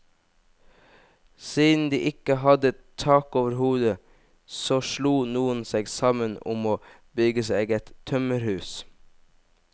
Siden de ikke hadde tak over hodet, så slo noen seg sammen om å bygge seg et tømmerhus.